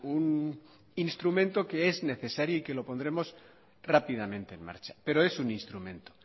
un instrumento que es necesario y que lo pondremos rápidamente en marcha pero es un instrumento